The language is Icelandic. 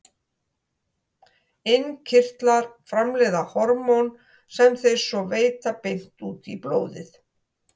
Innkirtlar framleiða hormón sem þeir svo veita beint út í blóðið.